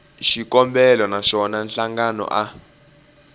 xikombelo na swona nhlangano a